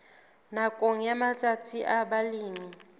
nakong ya matsatsi a balemi